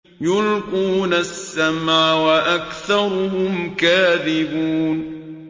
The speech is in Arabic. يُلْقُونَ السَّمْعَ وَأَكْثَرُهُمْ كَاذِبُونَ